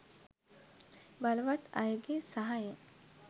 බලවත් අයගේ සහයෙන්